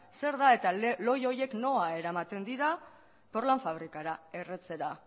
zer da eta lohi horiek nora eramaten dira porlan fabrikara erretzera